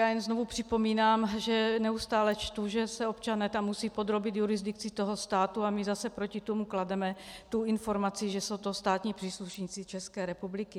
Já jen znovu připomínám, že neustále čtu, že se občané tam musí podrobit jurisdikci toho státu a my zase proti tomu klademe tu informaci, že jsou to státní příslušníci České republiky.